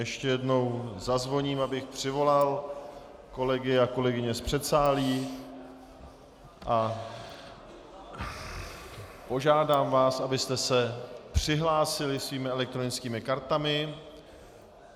Ještě jednou zazvoním, abych přivolal kolegy a kolegyně z předsálí a požádám vás, abyste se přihlásili svými elektronickými kartami.